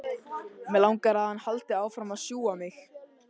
Mig langar að hann haldi áfram að sjúga mig.